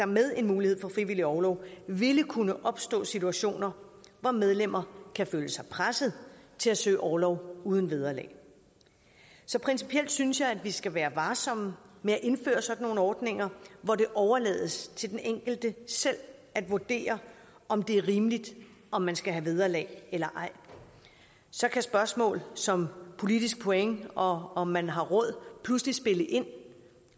med en mulighed for frivillig orlov ville kunne opstå situationer hvor medlemmer kan føle sig presset til at søge orlov uden vederlag så principielt synes jeg at vi skal være varsomme med at indføre sådan nogle ordninger hvor det overlades til den enkelte selv at vurdere om det er rimeligt om man skal have vederlag eller ej så kan spørgsmål som politisk point og om man har råd pludselig spille ind